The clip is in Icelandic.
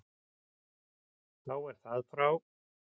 Þá er það frá.